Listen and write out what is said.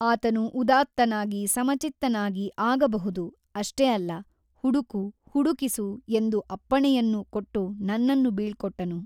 ಆತನು ಉದಾತ್ತನಾಗಿ ಸಮಚಿತ್ತನಾಗಿ ಆಗಬಹುದು ಅಷ್ಟೇ ಅಲ್ಲ ಹುಡುಕು ಹುಡುಕಿಸು ಎಂದು ಅಪ್ಪಣೆಯನ್ನೂ ಕೊಟ್ಟು ನನ್ನನ್ನು ಬೀಳ್ಕೊಟ್ಟನು.